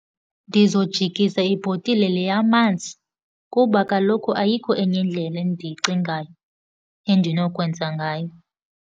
Ndizojikisa ibhotile le yamanzi kuba kaloku ayikho enye indlela endiyicingayo endinokwenza ngayo.